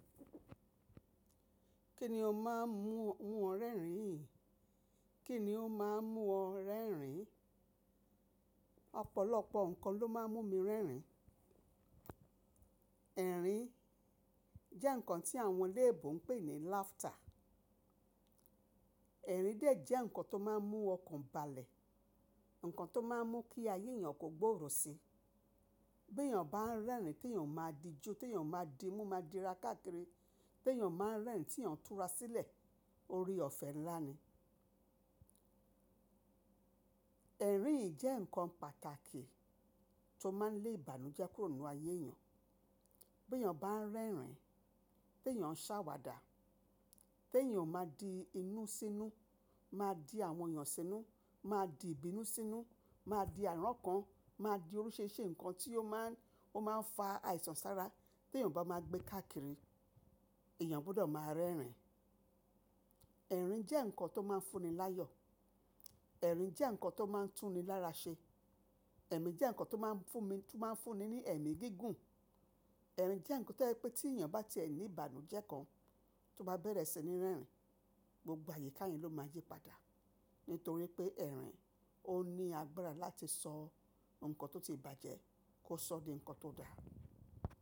Kí ni ó máa ń mú ọ rẹ́rìn? Kí ni ó máa ń mú ọ rẹ́rìn-ín? Ọ̀pọ̀lọpọ̀ nǹkan ló máa ń mú mi rẹ́rìn-ín. Ẹ̀rín jẹ́ nǹkan tí àwọn léèbú ń pè ní laughter. Ẹ̀rín de jẹ́ nǹkan tó máa ń mú ọkàn balẹ̀, nǹkan tó máa ń mú kí ayé èèyàn kó gbòòrò si. Bí èèyàn bá ń rẹ́rìn-ín, tí èèyàn máa di jú, tí èèyàn máa di mú, máa di ra káàkiri, bí èèyàn máa ń rẹ́rìn-ín tí èèyàn tún ra sílẹ̀, óre ọ̀fẹ́ ńlá ni. Ẹ̀rín yii jẹ́ nǹkan pàtàkì tó máa ń lé ìbànújẹ́ kúrò nínú ayé èèyàn. Bí èèyàn bá ń rẹ́rìn-ín, tí èèyàn ṣàwàdà, tí èèyàn máa di inú sínú, máa di àwọn èèyàn sínú, máa di ìbínú sínú, máa di àrán kan, máa di oríṣìíríṣìí nǹkan tí ó máa ń, ó máa ń fa àìsàn sára. Tí èèyàn bá máa gbé káàkiri, èèyàn gbọdọ̀ máa rẹ́rìn-ín. Ẹ̀rín jẹ́ nǹkan tó máa ń fún ni láyọ̀. Ẹ̀rín jẹ́ nǹkan tó máa ń tún ni lára ṣe. Ẹ̀mí jẹ́ nǹkan tó máa ń fún mi, tó máa ń fún ni ní ẹ̀mí gígùn. Ẹ̀rín jẹ́ nǹkan tó yẹ́ pé tí èèyàn bá ti ẹ́ ní ìbànújẹ́ kan, tó bá bẹ̀rẹ̀ sí ní rẹ́rìn-ín, gbogbo àyíká yẹn ló máa yípadà. Nítorí pé ẹ̀rín ó ní agbára láti sọ nǹkan tó ti bàjẹ́ kó sọ di nǹkan tó dára.